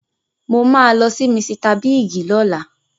Mo máa lọ sí Misita Bíìgì lọ́la.